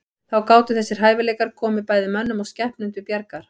Þá gátu þessir hæfileikar komið bæði mönnum og skepnum til bjargar.